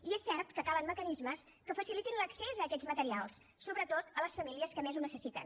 i és cert que calen mecanismes que facilitin l’accés a aquests materials sobretot a les famílies que més ho necessiten